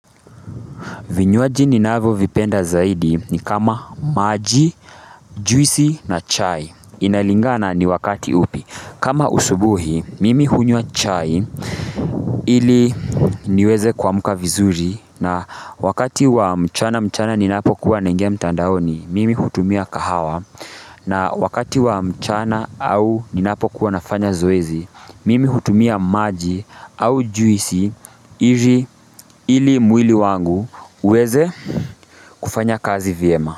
Vinywaji ninavyovipenda zaidi ni kama maji, juisi na chai. Inalingana ni wakati upi. Kama asubuhi, mimi hunywa chai ili niweze kuamka vizuri na wakati wa mchana mchana ninapo kuwa naingia mtandaoni, mimi hutumia kahawa na wakati wa mchana au ninapo kuwa nafanya zoezi, mimi hutumia maji au juisi ili mwili wangu. Uweze kufanya kazi vyema.